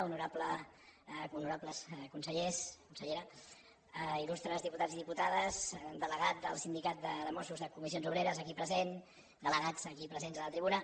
honorables consellers consellera il·lustres diputats i diputades delegat del sindicat de mossos de comissions obreres aquí present delegats aquí presents a la tribuna